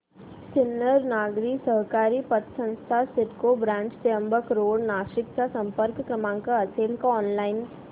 सिन्नर नागरी सहकारी पतसंस्था सिडको ब्रांच त्र्यंबक रोड नाशिक चा संपर्क क्रमांक असेल का ऑनलाइन